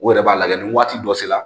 U yɛrɛ b'a lajɛ ni waati dɔ sera